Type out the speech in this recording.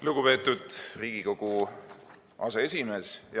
Lugupeetud Riigikogu aseesimees!